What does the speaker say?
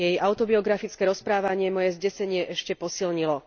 Jej autobiografické rozprávanie moje zdesenie ešte posilnilo.